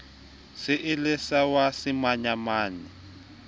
se e le wa semanyamanyane